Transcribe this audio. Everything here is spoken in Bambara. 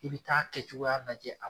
I bi taa kɛ cogoya lajɛ a bolo